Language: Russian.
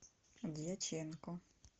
дьяченко